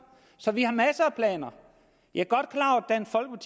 så vi har masser af planer jeg